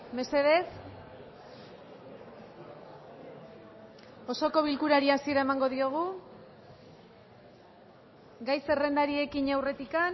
mesedez osoko bilkurari hasiera emango diogu gai zerrendari ekin aurretik